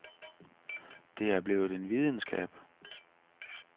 Det er blevet en videnskab.